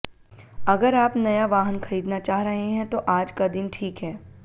अगर आप नया वाहन खरीदना चाह रहे हैं तो आज का दिन ठीक है